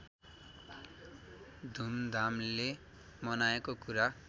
धुमधामले मनाएको कुरा